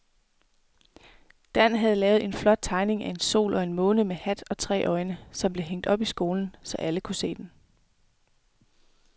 Dan havde lavet en flot tegning af en sol og en måne med hat og tre øjne, som blev hængt op i skolen, så alle kunne se den.